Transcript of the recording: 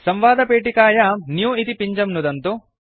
संवादपेटिकायां न्यू इति पिञ्जं नुदन्तु